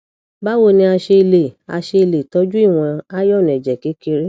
báwo ni a ṣe lè a ṣe lè tọjú ìwọn iron ẹjẹ kékeré